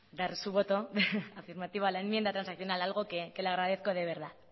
dar su voto afirmativo a la enmienda transaccional algo que le agradezco de verdad